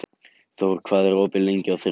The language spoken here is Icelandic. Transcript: Thor, hvað er opið lengi á þriðjudaginn?